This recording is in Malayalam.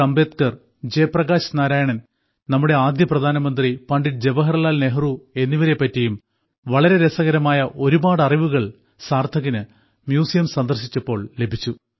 അംബേദ്കർ ജയപ്രകാശ് നാരായൺ നമ്മുടെ ആദ്യ പ്രധാനമന്ത്രി പണ്ഡിറ്റ് ജവഹർലാൽ നെഹ്റു എന്നിവരെ പറ്റിയും വളരെ രസകരമായ ഒരുപാട് അറിവുകൾ സാർത്ഥകിന് മ്യൂസിയം സന്ദർശിച്ചപ്പോൾ ലഭിച്ചു